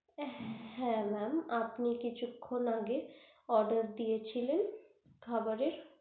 হ্যা mem আপনে কিছুখন আগে খাবারের oder দিয়েছিলেন খাবারের